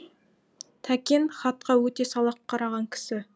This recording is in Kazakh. тәкен хатқа өте салақ қараған кісі